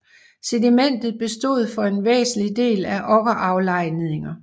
Sedimentet bestod for en væsentlig del af okkeraflejringer